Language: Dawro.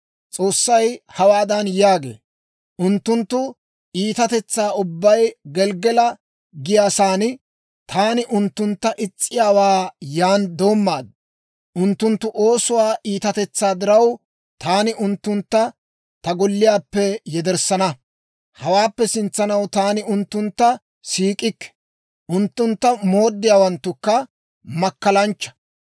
S'oossay hawaadan yaagee; «Unttunttu iitatetsaa ubbay Gelggala giyaa saana; taani unttuntta is's'iyaawaa yan doommaad. Unttunttu oosuwaa iitatetsaa diraw, taani unttuntta ta golliyaappe yederssana; hawaappe sintsanaw taani unttuntta siik'ikke; unttuntta mooddiyaawanttukka makkalanchcha.